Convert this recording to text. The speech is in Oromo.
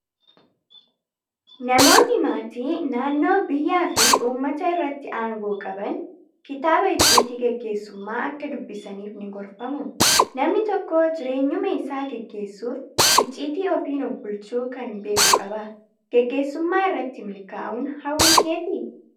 Namoonni maatii, naannoo, biyyaa fi uummata irratti aangoo qaban kitaaba icciitii gaggeessummaa akka dubbisaniif ni gorfamu. Namni tokko jireenyuma isaa gaggeessuuf icciitii ofiin of bulchuu kana beekuu qaba. Gaggeessummaa irratti milkaa'uun hawwii keetii?